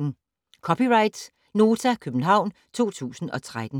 (c) Nota, København 2013